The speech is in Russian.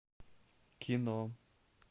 кино